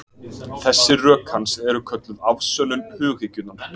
Þessi rök hans eru kölluð afsönnun hughyggjunnar.